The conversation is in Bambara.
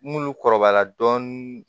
N'olu kɔrɔbara dɔɔnin